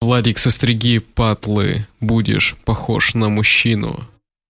владик со стрыги патлы будешь похож на мужчину